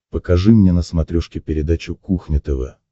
покажи мне на смотрешке передачу кухня тв